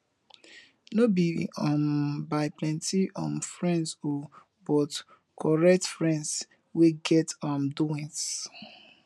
no bi um by plenti um friends o but korekt friends wey get um doings